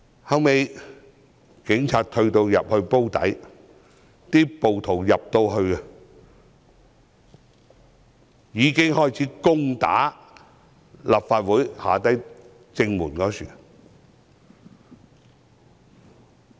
後來，警察退到"煲底"，暴徒開始攻打立法會正門。